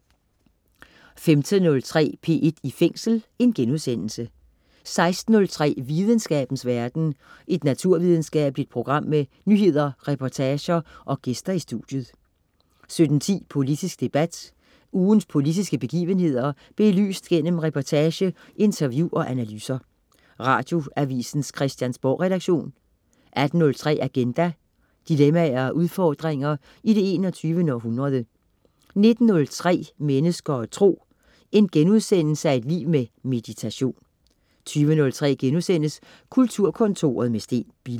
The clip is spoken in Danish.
15.03 P1 i Fængsel* 16.03 Videnskabens verden. Et naturvidenskabeligt program med nyheder, reportager og gæster i studiet 17.10 Politisk debat. Ugens politiske begivenheder belyst gennem reportage, interview og analyser. Radioavisens Christiansborgredaktion 18.03 Agenda. Dilemmaer og udfordringer i det 21. århundrede 19.03 Mennesker og Tro.* Et liv med meditation 20.03 Kulturkontoret med Steen Bille*